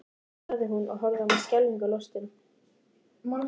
sagði hún og horfði á mig skelfingu lostin.